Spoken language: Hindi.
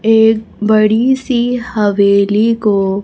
एक बड़ी सी हवेली को--